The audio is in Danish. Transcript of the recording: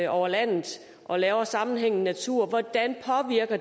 over landet og laver sammenhængende natur hvordan